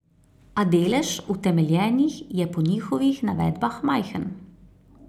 A delež utemeljenih je po njihovih navedbah majhen.